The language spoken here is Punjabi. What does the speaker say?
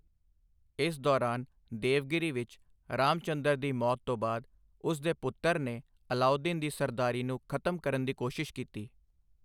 ਇਸ ਦੌਰਾਨ, ਦੇਵਗਿਰੀ ਵਿੱਚ, ਰਾਮਚੰਦਰ ਦੀ ਮੌਤ ਤੋਂ ਬਾਅਦ, ਉਸ ਦੇ ਪੁੱਤਰ ਨੇ ਅਲਾਊਦੀਨ ਦੀ ਸਰਦਾਰੀ ਨੂੰ ਖ਼ਤਮ ਕਰਨ ਦੀ ਕੋਸ਼ਿਸ਼ ਕੀਤੀ।